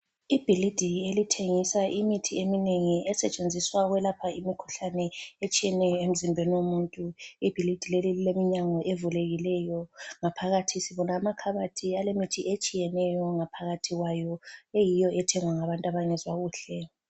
Ibhilidi elithengisa imithi eminengi esetshenziswa ukwelapha imikhuhlane etshiyeneyo emzimbeni womuntu. Ibhilide leli lileminyango evulekileyo ngaphakathi sibona amakhabothi alemithi etshiyeneyo ngaohakathi kwayo eyiyo ethengwa ngabantu abangezwa kuhle.